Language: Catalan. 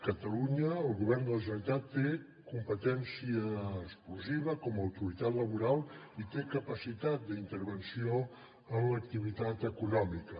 catalunya el govern de la generalitat té competència exclusiva com a autoritat laboral i té capacitat d’intervenció en l’activitat econòmica